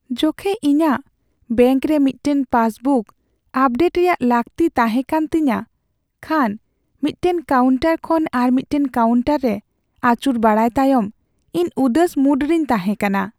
ᱡᱚᱠᱷᱮᱡ ᱤᱧᱟᱹᱜ ᱵᱮᱝᱠ ᱨᱮ ᱢᱤᱫᱴᱟᱝ ᱯᱟᱥᱵᱩᱠ ᱟᱯᱰᱮᱴ ᱨᱮᱭᱟᱜ ᱞᱟᱹᱠᱛᱤ ᱛᱟᱦᱮᱸᱠᱟᱱᱟ ᱛᱤᱧᱟᱹ ᱠᱷᱟᱱ ᱢᱤᱫᱴᱟᱝ ᱠᱟᱣᱩᱱᱴᱟᱨ ᱠᱷᱚᱱ ᱟᱨ ᱢᱤᱫᱴᱟᱝ ᱠᱟᱣᱩᱱᱴᱟᱨ ᱨᱮ ᱟᱹᱪᱩᱨ ᱵᱟᱲᱟᱭ ᱛᱟᱭᱚᱢ ᱤᱧ ᱩᱫᱟᱹᱥ ᱢᱩᱰ ᱨᱮᱧ ᱛᱟᱦᱮᱸᱠᱟᱱᱟ ᱾